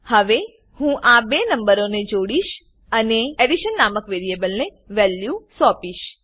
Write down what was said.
હવે હું આ બે નંબરોને જોડીશ અને અનેaddition નામક વેરીએબલને વેલ્યુ સોપીશ